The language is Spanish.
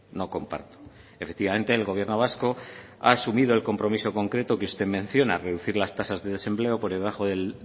no comparto efectivamente el gobierno vasco ha asumido el compromiso concreto que usted menciona reducir las tasas de desempleo por debajo del